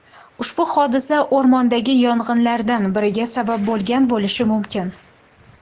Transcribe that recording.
Ushbu hodisa o‘rmondagi yong‘inlardan biriga sabab bo‘lgan bo‘lishi mumkin.